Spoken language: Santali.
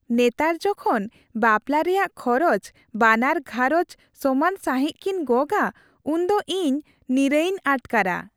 ᱱᱮᱛᱟᱨ ᱡᱚᱠᱷᱚᱱ ᱵᱟᱯᱞᱟ ᱨᱮᱭᱟᱜ ᱠᱷᱚᱨᱚᱪ ᱵᱟᱱᱟᱨ ᱜᱷᱟᱸᱨᱚᱧᱡᱽ ᱥᱚᱢᱟᱱ ᱥᱟᱹᱦᱤᱡ ᱠᱤᱱ ᱜᱚᱜᱟ ᱩᱱᱫᱚ ᱤᱧ ᱱᱤᱨᱟᱹᱭᱤᱧ ᱟᱴᱠᱟᱨᱟ ᱾